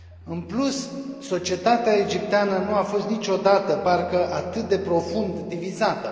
În plus, societatea egipteană nu a fost niciodată, parcă, atât de profund divizată.